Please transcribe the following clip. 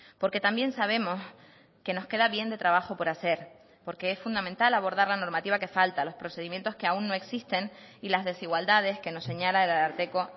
porque también sabemos que nos queda bien de trabajo por hacer porque es fundamental abordar la normativa que falta los procedimientos que aún no existen y las desigualdades que nos señala el ararteko